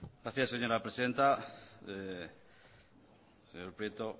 gracias señora presidenta señor prieto